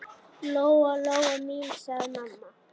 Lóa-Lóa mín, sagði mamma.